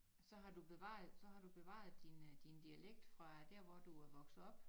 Så har du bevaret så har bevaret din øh din dialekt fra der hvor du er vokset op